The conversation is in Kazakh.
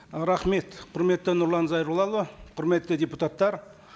ы рахмет құрметті нұрлан зайроллаұлы құрметті депутаттар